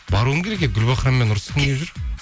баруым керек еді гүлбахраммен ұрысқым